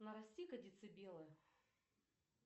нарасти ка децибелы